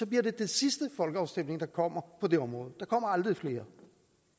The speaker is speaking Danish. bliver det den sidste folkeafstemning der kommer på det område der kommer aldrig flere